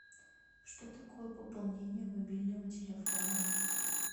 что такое пополнение мобильного телефона